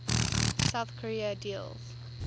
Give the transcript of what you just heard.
south korea deals